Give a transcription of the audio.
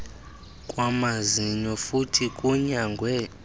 kwamazinyo futhi kunyangwe